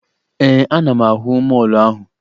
Ee, ana m ahụ mọọlụ ahụ